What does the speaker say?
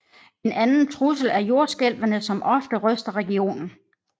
En anden trussel er jordskælvene som ofte ryster regionen